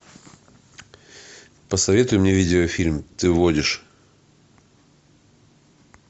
посоветуй мне видеофильм ты водишь